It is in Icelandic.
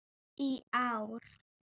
í ár.